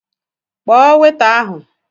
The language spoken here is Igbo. Kpọọ weta ahụ!